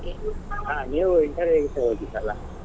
ಹ ನೀವು interview ಗೆ ಹೋಗಿದ್ದಲಾ.